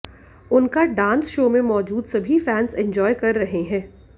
उनका dance show में मौजूद सभी फैन्स एंजॉय कर रहे हैं